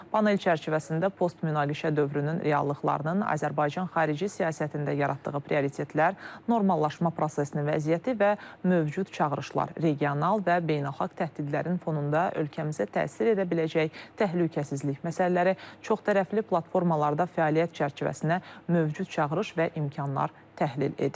Panel çərçivəsində post-münaqişə dövrünün reallıqlarının Azərbaycan xarici siyasətində yaratdığı prioritetlər, normallaşma prosesinin vəziyyəti və mövcud çağırışlar, regional və beynəlxalq təhdidlərin fonunda ölkəmizə təsir edə biləcək təhlükəsizlik məsələləri, çoxtərəfli platformalarda fəaliyyət çərçivəsinə mövcud çağırış və imkanlar təhlil edilib.